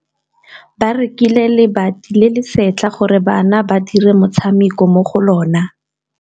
Ba rekile lebati le le setlha gore bana ba dire motshameko mo go lona.